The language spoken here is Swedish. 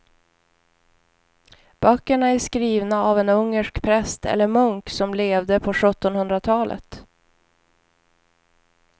Böckerna är skrivna av en ungersk präst eller munk som levde på sjuttonhundratalet.